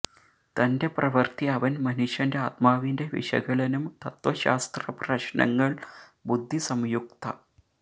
തന്റെ പ്രവൃത്തി അവൻ മനുഷ്യന്റെ ആത്മാവിന്റെ വിശകലനം തത്ത്വശാസ്ത്ര പ്രശ്നങ്ങൾ ബുദ്ധി സംയുക്ത